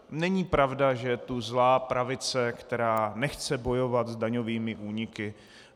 Není pravda, že je tu zlá pravice, která nechce bojovat s daňovými úniky.